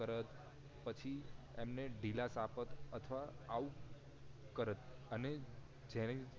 તરત પછી એમને ઢીલાશ આપત અથવા આવું કરત અને જેને